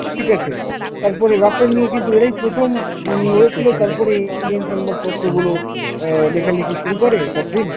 ঠিক আছে? তারপরে রাফেল নিয়ে কিন্তু এরাই প্রথম উম নড়েছিল। তারপরে Indian সংবাদপত্রগুলো অ্যাঁ লেখালেখি শুরু করে The Print।